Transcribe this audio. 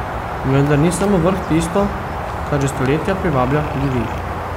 Vendar ni samo vrh tisto, kar že stoletja privablja ljudi.